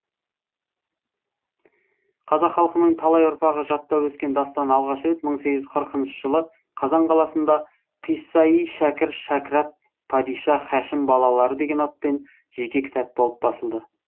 қазақ халқының талай ұрпағы жаттап өскен дастан алғаш рет мың сегіз жүз қырық жылы қазан қаласында қисса и шәкір шәкірат падиша һашим балалары деген атпен жеке кітап болып басылды